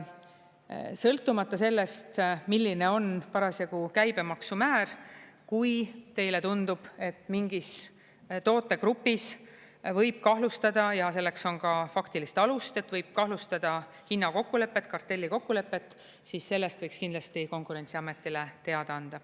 Sõltumata sellest, milline on parasjagu käibemaksu määr, kui teile tundub, et mingis tootegrupis võib kahtlustada ja selleks on ka faktilist alust, et võib kahtlustada hinnakokkulepet, kartellikokkulepet, siis sellest võiks kindlasti Konkurentsiametile teada anda.